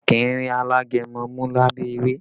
A kì í rí alágẹmọ mú lábẹ́ ewé